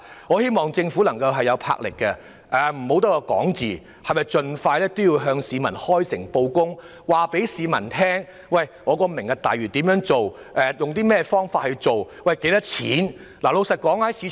我希望政府會有魄力，不要只是空談，盡快向市民開誠布公，告訴大家"明日大嶼"計劃的詳情和預計的開支等。